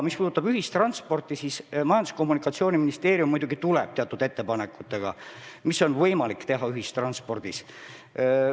Majandus- ja Kommunikatsiooniministeerium muidugi tuleb teatud ettepanekutega, mida on võimalik ära teha ühistranspordis.